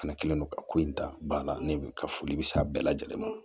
Fɛnɛ kɛlen don ka ko in ta ba la ne bi ka foli be s'a bɛɛ lajɛlen ma